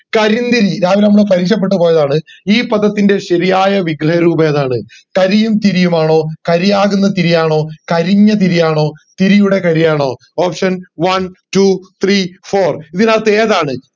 കരിന്തിരി രാവിലെ നമ്മള് പരിശപെട്ട് പോയതാണ് ഈ പദത്തിന്റെ ശരിയായ വിഗ്രഹ രൂപം ഏതാണ് കരിയും തിരിയുമാണോ കാരിയാകുന്ന തിരിയാണോ കരിഞ്ഞ തിരിയാണോ തിരിയാകുന്ന കാരിയാണോ option one two three four ഇതിനകത്ത് ഏതാണ്